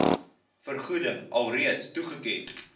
vergoeding alreeds toegeken